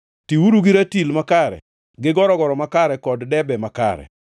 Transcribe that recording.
Tiuru gi ratil makare gi gorogoro makare kod debe makare.